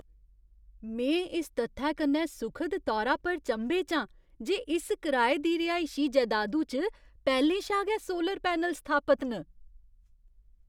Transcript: में इस तत्थै कन्नै सुखद तौरा पर चंभे च आं जे इस कराए दी रिहायशी जैदादु च पैह्‌लें शा गै सोलर पैनल स्थापत न।